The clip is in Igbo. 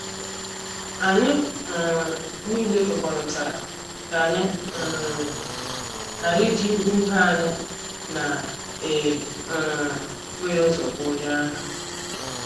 Anyị um niile kwekọrịtara ka anyị um ghara iji ihe ibé anyị na e um bụghị ụzọ gwa onye ahụ.